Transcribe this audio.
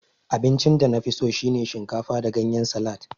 Abincin danafiso shine shinkafa da ganyen salad